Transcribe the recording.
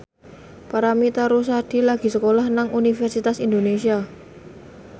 Paramitha Rusady lagi sekolah nang Universitas Indonesia